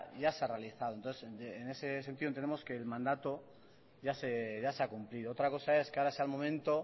ya se ha realizado entonces en ese sentido entendemos que el mandato ya se ha cumplido otra cosa es que ahora sea el momento